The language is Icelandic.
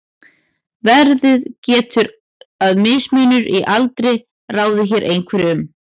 verið getur að mismunur í aldri ráði hér einhverju um